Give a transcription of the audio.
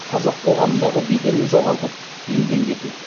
қазақ қоғамындағы беделін жоғалтып елден кету